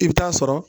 I bɛ taa sɔrɔ